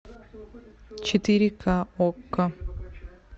четыре ка окко